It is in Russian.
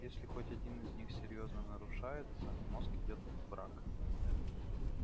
если хоть один из них серьёзно нарушается мозг идёт в брак